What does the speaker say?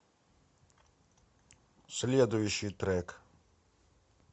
следующий трек